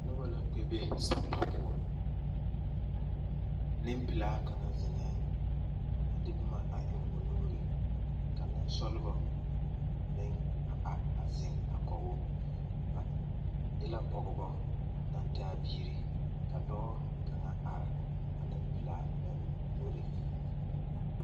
Noba la kpɛ be sampa poɔ nempelaa kaŋa zeŋɛŋ a de boma a eŋ o nuuri ka nensɔglebɔ meŋ a zeŋ a kɔge o ba e la pɔgeba naŋ taa biiri ka dɔɔ kaŋ are a nempelaa lamboriŋ.